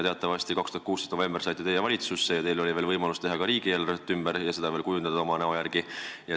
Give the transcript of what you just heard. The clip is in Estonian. Teatavasti saite teie 2016. aasta novembris valitsusse ja teil oli võimalik ka riigieelarvet ümber teha, seda veel oma näo järgi kujundada.